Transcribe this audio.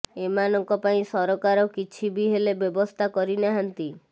ଏମାନଙ୍କ ପାଇଁ ସରକାର କିଛି ବି ହେଲେ ବ୍ୟବସ୍ଥା କରି ନାହାନ୍ତି